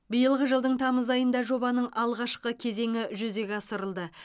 биылғы жылдың тамыз айында жобаның алғашқы кезеңі жүзеге асырылды